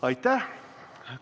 Aitäh!